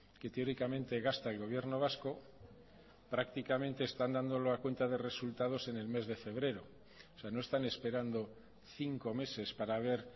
que teóricamente gasta el gobierno vasco prácticamente están dándolo a cuenta de resultados en el mes de febrero o sea no están esperando cinco meses para ver